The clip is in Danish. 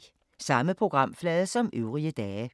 Samme programflade som øvrige dage